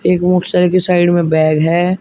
एक की साइड में बैग हैं।